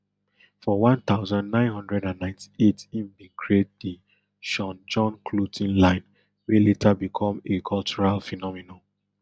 for one thousand, nine hundred and ninety-eight im bin create di sean john clothing line wey later become a cultural phenomenon